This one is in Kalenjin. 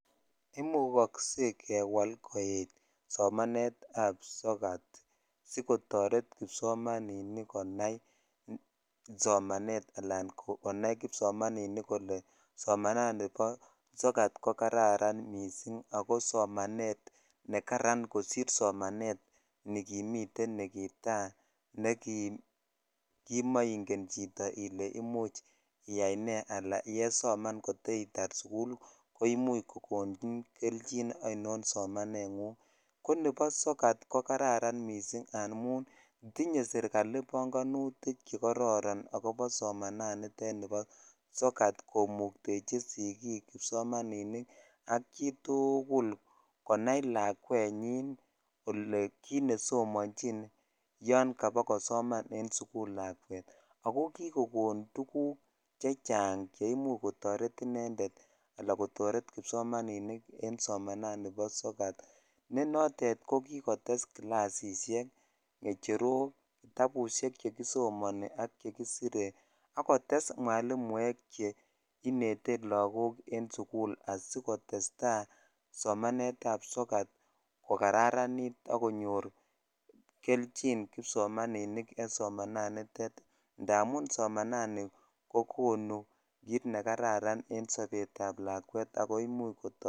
Imukokse kewal koek somanetab sokatab sokat sikotoret kipsomaninik konai somanet alaan konai kipsomaninik kolee somanani boo sokat ko kararan mising ak ko somanet nekaran kosir somanet nikimiten nikitaa nekimoing'en chito ilee imuch iyai nee alaan yesoman kotitar sukul koimuch kokonin kelchin ainon somanengung, konebo sokat ko kararn mising amun tinye serikali bong'onutik chekororon akobo somanani tet nibo sokat komuktechi sikik kipsomaninik ak chitukul konai lakwenyin kolee kiit nesomonjin yoon kabakosoman en sukul lakwet ako kikokon tukuk chechang cheimuch kotoret inendet alaa kotoret kipsomaninik en somanani bo sokat nee notet ko kikotes kilasishek, kecherok, kitabushek chekisomoni ak chekisire ak kotes mwalimuek chenete lokok en sukul asikotesta somanetab sukat ko kararanit ak konyor kelchin kipsomaninik en somananitet ndamun somanani ko kokonu kiit nekararan en sobetab lakwet ak koimuch kotoretok.